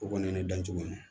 O kɔni ye ne dancogo ye